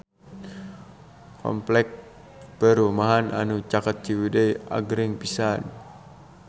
Kompleks perumahan anu caket Ciwidey agreng pisan